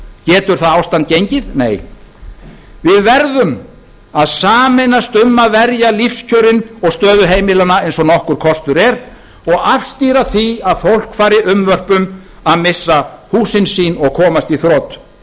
getur það ástand gengið nei við verðum að sameinast um að verja lífskjörin og stöðu heimilanna eins og nokkur kostur er og afstýra því að fólk fari unnvörpum að missa húsin sín og komast í þrot